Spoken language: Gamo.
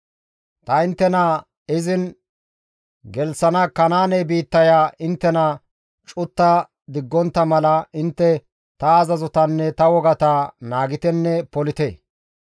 « ‹Ta inttena izin gelththana Kanaane biittaya inttena cutta diggontta mala intte ta azazotanne ta wogata naagitenne polite.